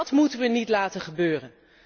Dat moeten we niet laten gebeuren.